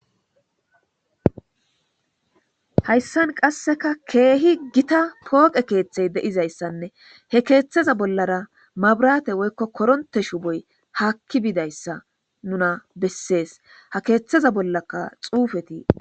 hayssan qasseka keehi gita pooqe keetxey deizayssanne he keeththeza bollara mabrate woykko koronte shu boy haakki biidayssa nuna bessees ha keeththeza bollaka xuufetii